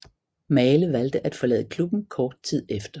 Maale valgte at forlade klubben kort tid efter